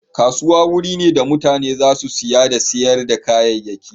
Kasuwa wuri ne da mutane za su saya da sayar da kayayyaki.